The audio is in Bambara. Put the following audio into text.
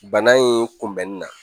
Bana in kunbɛnni na